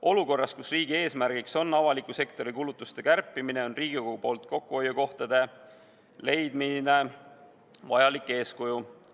Olukorras, kus riigi eesmärk on avaliku sektori kulutuste kärpimine, on Riigikogus kokkuhoiukohtade leidmine vajalik eeskuju.